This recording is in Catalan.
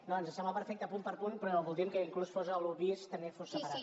no ens sembla perfecte punt per punt però voldríem que inclús l’un bis també fos separat